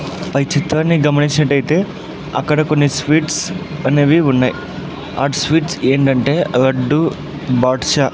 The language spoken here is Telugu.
పై చిత్రాన్ని గమనించినట్టయితే అక్కడ కొన్ని స్వీట్స్ అనేవి ఉన్నాయి ఆ స్వీట్స్ ఏంటంటే లడ్డు బాదుషా .